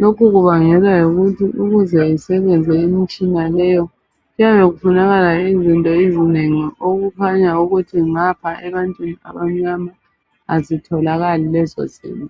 Lokhu kubangelwa ngokuthi ukuze isebenze imitshina leyo kuyabe kufanakala izinto ezingeni okukhanya ukuthi ngapha ebantu abamnyama azitholakali lezo zinto.